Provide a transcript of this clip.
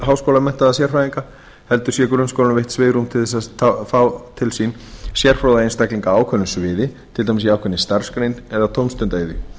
háskólamenntaða sérfræðinga heldur sé grunnskólanum veitt svigrúm til þess að fá til sín sérfróða einstaklinga á ákveðnu sviði til dæmis í ákveðinni starfsgrein eða tómstundaiðju